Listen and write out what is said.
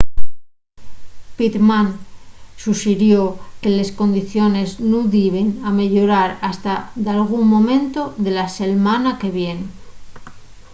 pittman suxirió que les condiciones nun diben ameyorar hasta dalgún momentu de la selmana que vien